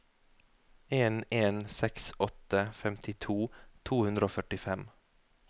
en en seks åtte femtito to hundre og førtifem